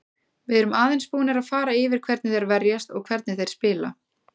Við erum aðeins búnir að fara yfir hvernig þeir verjast og hvernig þeir spila.